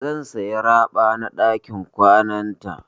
Zan saya raɓa na ɗakin kwananta.